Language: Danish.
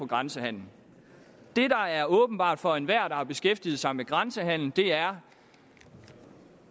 grænsehandelen det der er åbenbart for enhver der har beskæftiget sig med grænsehandel er